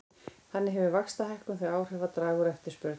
Þannig hefur vaxtahækkun þau áhrif að draga úr eftirspurn.